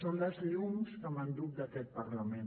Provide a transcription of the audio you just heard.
són les llums que m’enduc d’aquest parlament